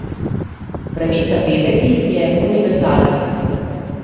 Pravica vedeti je univerzalna.